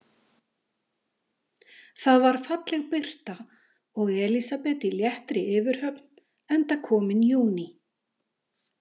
Það var falleg birta og Elísabet í léttri yfirhöfn enda kominn júní.